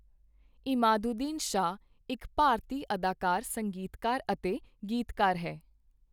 ਇਮਾਦੁਦੀਨ ਸ਼ਾਹ ਇੱਕ ਭਾਰਤੀ ਅਦਾਕਾਰ, ਸੰਗੀਤਕਾਰ ਅਤੇ ਗੀਤਕਾਰ ਹੈ।